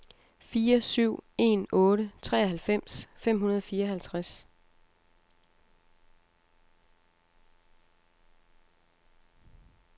fire syv en otte treoghalvfems fem hundrede og fireoghalvtreds